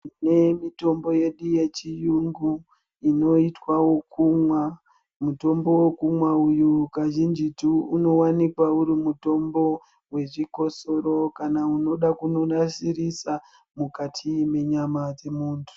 Tine mitombo yedu yechiyungu inoitwa ekumwa mutombo wekumwa uyu kazhinjitu unowanikwa uri mutombo wezvikosoro kana unoda kundonasirisa mukati munyama dzemuntu .